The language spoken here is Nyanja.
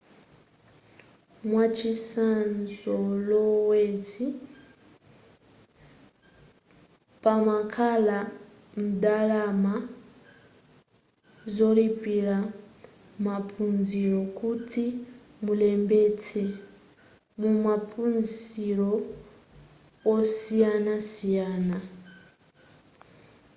mwachizolowezi pamakhala ndalama zolipilira maphunziro kuti mulembetse mumaphunziro osiyanasiyana